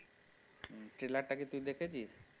trailer টা কি তুই দেখেছিস?